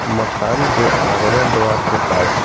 मकान के आगमन द्वारा के पास--